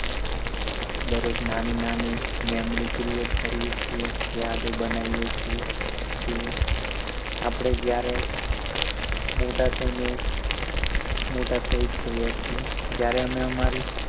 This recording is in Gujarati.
દરેક નાની નાની memory create કરીએ છીએ યાદ બનાઈ છીએ જે આપણે જ્યારે મોટા થઈ ને મોટા થઈ જ ગયા છીએ